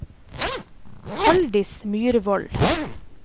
Halldis Myrvold